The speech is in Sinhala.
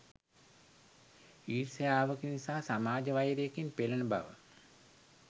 ඊර්ෂ්‍යාවකින් සහ සමාජ වෛරයකින් පෙළෙන බව